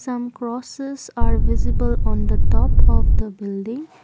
some grasses are visible on the top of the building.